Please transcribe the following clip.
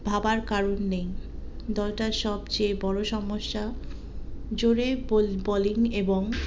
ভাবার কারণে দলটার সবচেয়ে বড়ো সমস্যা জোরে বল bolling এবং